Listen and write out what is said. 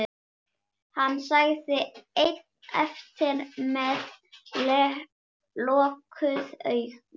Hann sat einn eftir með lokuð augun.